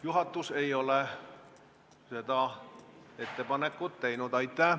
Juhatus ei ole seda ettepanekut teinud.